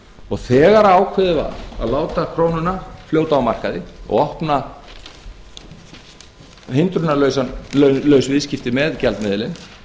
og þegar ákveðið var að láta krónuna fljóta á markaði og opna hindrunarlaus viðskipti með gjaldmiðilinn